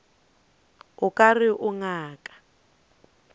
o ka re o ngaka